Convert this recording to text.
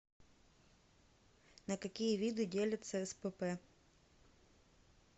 на какие виды делятся спп